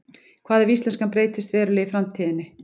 hvað ef íslenskan breytist verulega í framtíðinni